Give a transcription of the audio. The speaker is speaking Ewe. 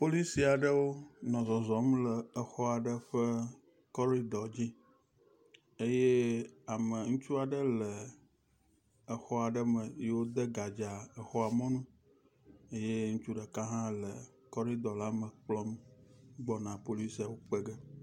Polisi aɖewo nɔ zɔzɔm le exɔ aɖe ƒe kɔridɔ dzi eye ame ŋutsu aɖe le xɔ aɖe me yi wode gadza xɔa mɔnu eye ŋutsu ɖeka le kɔridɔ la me kplɔm gbɔna polisiawo kpege.